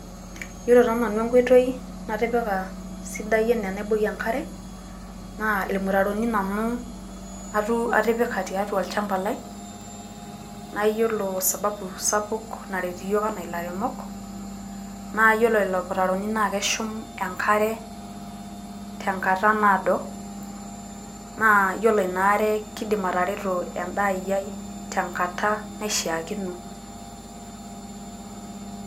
ore taa nanu enkoitoi natipika naa irmutaroni atipika sidai nanu atipika atua olchamba lai , nayiolo sababu sapuk naret iyiok enaa ilairemok , naa iyiolo lelo mutaroni naa keshum engare tenkata naado naa iyiolo ina are naa kidim atereto edaa ai tengata naishakino.